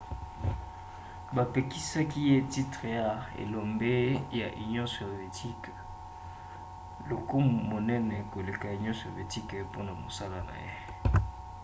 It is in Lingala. bapesaki ye titre ya elombe ya union sovietique lokumu monene koleka ya union sovietique mpona mosala na ye